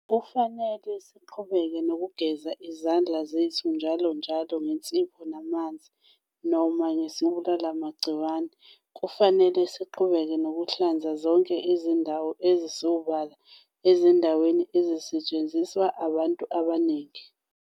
Kufanele siqhubeke nokugeza izandla zethu njalonjalo ngensipho namanzi noma ngesibulalimagciwane. Kufanele siqhubeke nokuhlanza zonke izindawo ezisobala ezindaweni ezisetshenziswa abantu abaningi.